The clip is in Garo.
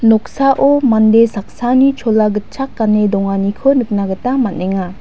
noksao mande saksani chola gitchak gane donganiko nikna gita man·enga.